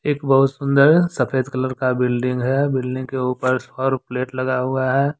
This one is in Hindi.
एक बहुत सुंदर सफेद कलर का बिल्डिंग है। बिल्डिंग के ऊपर सौर प्लेट लगा हुआ है।